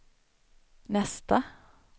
nästa